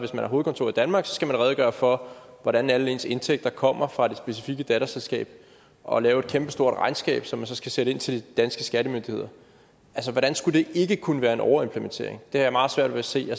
har hovedkontor i danmark skal man redegøre for hvordan alle ens indtægter kommer fra det specifikke datterselskab og lave et kæmpestort regnskab som man så skal sende indtil de danske skattemyndigheder altså hvordan skulle det ikke kunne være en overimplementering det jeg meget svært at se